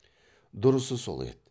дұрысы сол еді